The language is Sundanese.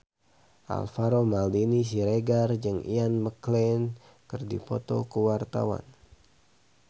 Alvaro Maldini Siregar jeung Ian McKellen keur dipoto ku wartawan